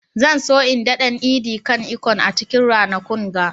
Zan so in daɗan " edi kan ikong" a cikin ranakun ga.